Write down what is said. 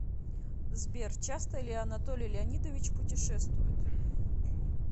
сбер часто ли анатолий леонидович путешествует